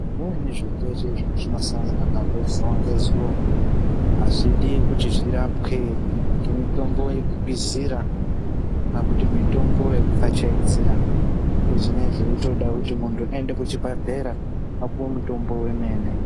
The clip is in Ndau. Zvimweni zvirwere zvetinosangana nazvo zuva ngezuva hazvidi kuti zvirapwe ngemitombo yekukwizira kana kuti mitombo yekupfachaidzira asi zvinee zveitoda kuti muntu aende kuchibhedhlera apuwe mutombo wemene.